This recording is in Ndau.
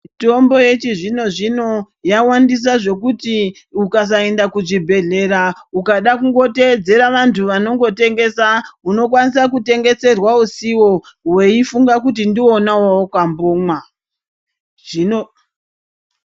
Mitombo yechizvino zvino yawandisa zvokuti ukasaenda kuzvibhedhlera ukada kungoteedzera vantu vano ngotengesa unokwanisa kutengeserwa usiwo weifunga kuti ndiwo wawaka mbomwa.